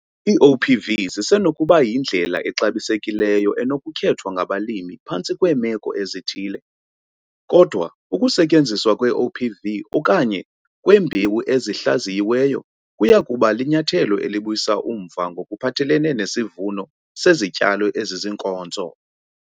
Ii-OPV zisenokuba yindlela exabisekileyo enokukhethwa ngabalimi phantsi kweemeko ezithile, kodwa ukusetyenziswa kwe-OPV okanye kwembewu ezihlaziyiweyo kuya kuba linyathelo elibuyisa umva ngokuphathelene nesivuno sezityalo esiziinkonzo.